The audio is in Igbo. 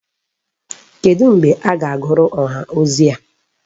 Kedu mgbe a ga-agụrụ ọha ozi a?